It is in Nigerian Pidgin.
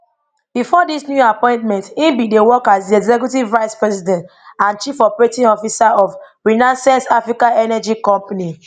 bifor dis new appointment e bin dey work as di executive vice president and chief operating officer of renaissance africa energy company